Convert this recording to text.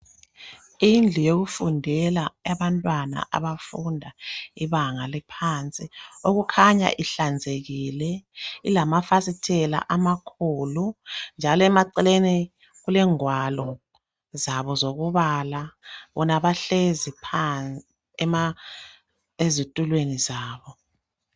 Indlu yokufundela, yabantwana abafunda ibanga eliphansi. Okukhanya ihlanzekIile. Ilamafasitela amakhulu, njalo emaceleni, kulengwalo zabo zokubala. Bona bahlezi phansi, ezitulweni zabo.